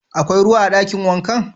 Akwai ruwa a dakin wankan?